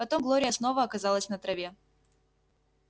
потом глория снова оказалась на траве